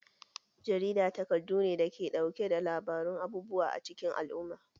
Jarida takardu ne da ke ɗauke da labarun abubuwa acikin al'umma